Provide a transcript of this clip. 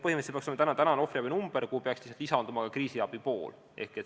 Põhimõtteliselt peaks see olema ohvriabi number, kuhu peaks lisanduma ka kriisiabi pool.